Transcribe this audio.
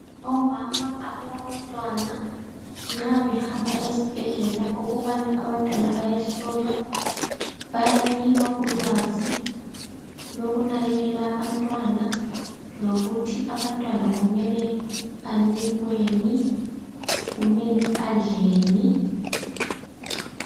Omama abalantwana nxa behamba ezibhedlela ukubana abantwana bayehlolwa bayanikwa ulwazi lokunakekela abantwana lokuthi abantwana kumele banikweni kumele badleni.